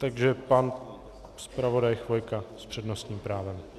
Takže pan zpravodaj Chvojka s přednostním právem.